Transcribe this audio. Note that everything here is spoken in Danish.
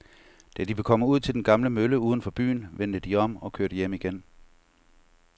Da de var kommet ud til den gamle mølle uden for byen, vendte de om og kørte hjem igen.